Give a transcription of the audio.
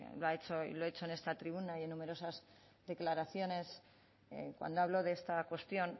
lo he hecho en esta tribuna y en numerosas declaraciones cuando hablo de esta cuestión